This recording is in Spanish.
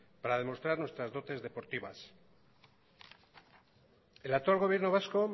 para demostrar nuestras dotes deportivas el actual gobierno vasco